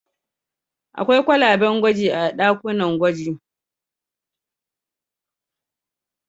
Akwai kwalaben gwaji a ɗakunan gwaji.